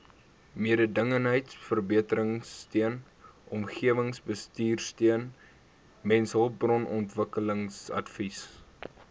mededingendheidsverbeteringsteun omgewingsbestuursteun mensehulpbronontwikkelingsadvies